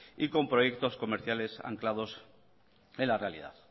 y con proyectos comerciales anclados en la realidad